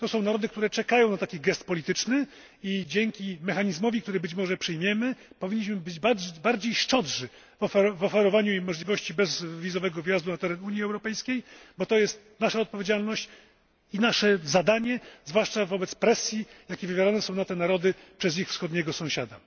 To są narody, które czekają na taki gest polityczny, i dzięki mechanizmowi, który być może przyjmiemy, powinniśmy być bardziej szczodrzy w oferowaniu im możliwości bezwizowego wjazdu na teren Unii Europejskiej, bo to jest nasza odpowiedzialność i nasze zadanie, zwłaszcza wobec presji, jaką wywiera na te narody ich wschodni sąsiad.